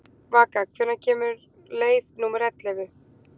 Vaka, hvenær kemur leið númer ellefu?